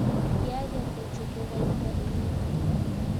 kiager kochute kaita eng ungot.